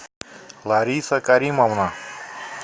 лариса каримовна